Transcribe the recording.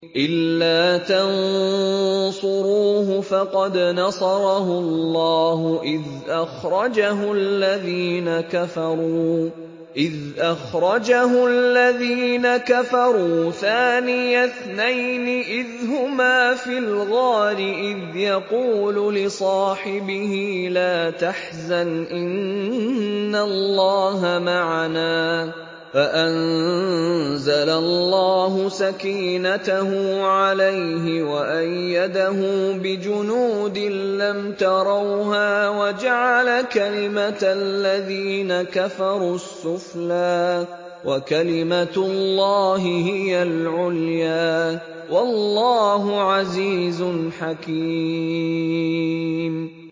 إِلَّا تَنصُرُوهُ فَقَدْ نَصَرَهُ اللَّهُ إِذْ أَخْرَجَهُ الَّذِينَ كَفَرُوا ثَانِيَ اثْنَيْنِ إِذْ هُمَا فِي الْغَارِ إِذْ يَقُولُ لِصَاحِبِهِ لَا تَحْزَنْ إِنَّ اللَّهَ مَعَنَا ۖ فَأَنزَلَ اللَّهُ سَكِينَتَهُ عَلَيْهِ وَأَيَّدَهُ بِجُنُودٍ لَّمْ تَرَوْهَا وَجَعَلَ كَلِمَةَ الَّذِينَ كَفَرُوا السُّفْلَىٰ ۗ وَكَلِمَةُ اللَّهِ هِيَ الْعُلْيَا ۗ وَاللَّهُ عَزِيزٌ حَكِيمٌ